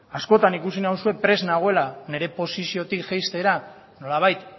askotan ikusi nauzu prest nagoela nire posiziotik jaistera nolabait